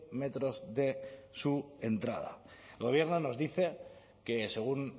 metros de su entrada el gobierno nos dice que según